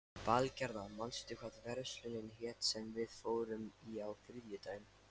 Valgerða, manstu hvað verslunin hét sem við fórum í á þriðjudaginn?